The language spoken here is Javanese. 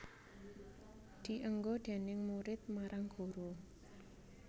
Dienggo déning murid marang guru